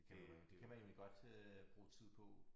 Det kan jo være kan jo være egentlig godt øh bruge tid på